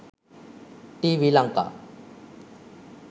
tvlanka